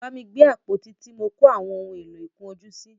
Bámi gbé àpótí tí mọ kó àwọn ohun èlò ìkun ojú sí!